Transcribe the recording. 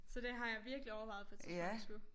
Så det har jeg virkelig overvejet på et tidspunkt at skulle